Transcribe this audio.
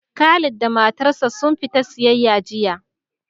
Khalid da matar sa sun fita siyayya jiya